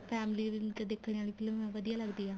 family ਵਿੱਚ ਦੇਖਣ ਵਾਲੀ ਫਿਲਮ ਏ ਵਧੀਆ ਲੱਗਦੀ ਏ